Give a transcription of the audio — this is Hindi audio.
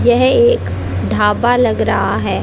यह एक ढाबा लग रहा है।